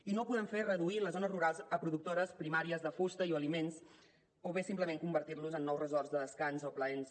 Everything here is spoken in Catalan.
i no ho podem fer reduint les zones rurals a productores primàries de fustes o aliments o bé simplement convertint les en nous resorts de descans o plaents